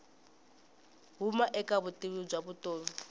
huma eka vutivi bya vutomi